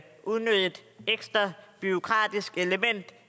unødigt ekstra bureaukratisk element